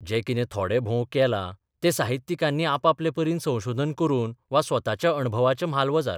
जें कितें थोडे भोव केलां तें साहित्यिकांनी आपापले परीन संशोधन करून वा स्वताच्या अणभवाच्या म्हालवजार.